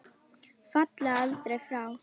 Falla aldrei frá.